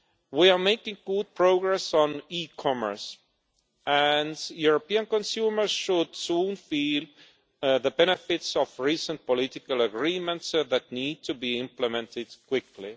We are making good progress on e commerce, and European consumers should soon feel the benefits of recent political agreements, which need to be implemented quickly.